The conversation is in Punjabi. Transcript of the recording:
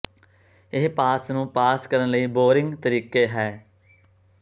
ਇਹ ਪਾਸ ਨੂੰ ਪਾਸ ਕਰਨ ਲਈ ਬੋਰਿੰਗ ਤਰੀਕੇ ਹੈ